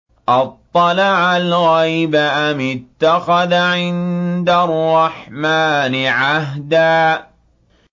أَطَّلَعَ الْغَيْبَ أَمِ اتَّخَذَ عِندَ الرَّحْمَٰنِ عَهْدًا